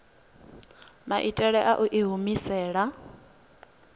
maitele a u i humisela